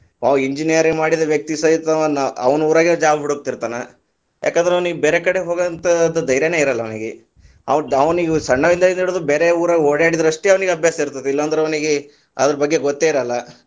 ಅವ engineering ಮಾಡಿದ ವ್ಯಕ್ತಿ ಸಹಿತ ಅವಾ ಅವನ್‌ ಊರಾಗ job ಹುಡುಕ್ತಿರತಾನ, ಯಾಕಂದ್ರ ಅವನಿಗೆ ಬೇರೆಕಡೆ ಹೋಗುವಂತದು ಧೈಯ೯ನೇ ಇರಲ್ಲಾ ಅವನಿಗೆ, ಅವ ಸಣ್ಣವಿದ್ದಾಗಿನಿಂದ ಹಿಡಿದು ಬೇರೆ ಊರಾಗ ಓಡಾಡಿದರಷ್ಟೇ ಅವ್ನಿಗೆ ಅಭ್ಯಾಸ ಇರ್ತದ, ಇಲ್ಲಾಂದ್ರ ಅವನಿಗೆ ಅದರ ಬಗ್ಗೆ ಗೊತ್ತೇ ಇರಲ್ಲಾ.